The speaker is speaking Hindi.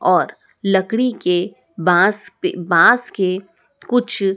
और लकड़ी के बाँस पे बाँस के कुछ --